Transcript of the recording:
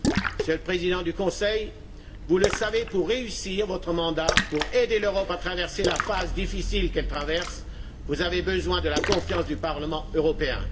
Monsieur le Président du Conseil, vous le savez, pour réussir votre mandat et aider l'Europe à traverser la phase difficile actuelle, vous avez besoin de la confiance du Parlement européen.